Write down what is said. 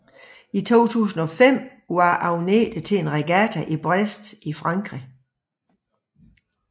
I 2005 var Agnete til en regatta i Brest i Frankrig